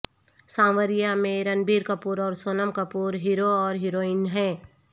سانوریا میں رنبیر کپور اور سونم کپور ہیرو اور ہیروئن ہیں